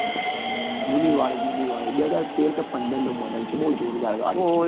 જૂની વાળી જૂની વાળી બે હજાર તેર કે પંદર નું model છે બઉ જોરદાર ગાડી છે